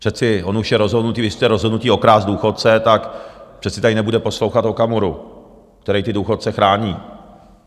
Přece on už je rozhodnutý, když jste rozhodnutí okrást důchodce, tak přece tady nebude poslouchat Okamuru, který ty důchodce chrání.